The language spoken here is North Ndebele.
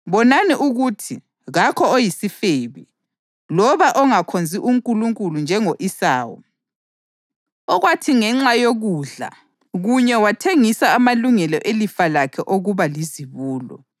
Bonani ukuthi kakho oyisifebe, loba ongakhonzi uNkulunkulu njengo-Esawu okwathi ngenxa yokudla kunye wathengisa amalungelo elifa lakhe okuba lizibulo.